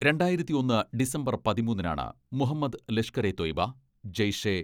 രണ്ടായിരത്തി ഒന്ന് ഡിസംബർ പതിമൂന്നിനാണ് മുഹമ്മദ് ലഷ്കറെ തൊയ്ബ, ജയ്ഷെ